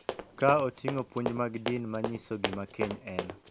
Ka oting�o puonj mag din ma nyiso gima keny en .